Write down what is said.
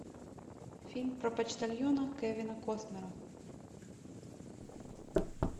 фильм про почтальона кевина костнера